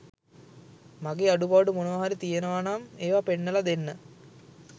මගේ අඩුපාඩු මොනවා හරි තියෙනවනම් ඒවා පෙන්නලා දෙන්න